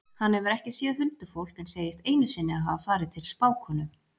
Hann hefur ekki séð huldufólk en segist einu sinni hafa farið til spákonu.